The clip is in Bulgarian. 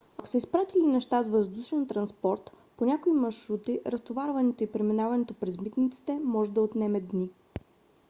ако са изпратили неща с въздушен транспорт по някои маршрути разтоварването и преминаването през митниците може да отнеме дни